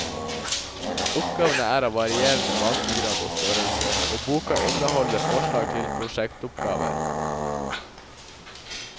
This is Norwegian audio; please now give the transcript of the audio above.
Oppgavene er av varierende vanskegrad og størrelse, og boka inneholder forslag til prosjektoppgaver.